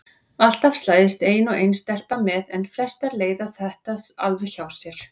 Alltaf slæðist ein og ein stelpa með en flestar leiða þetta alveg hjá sér.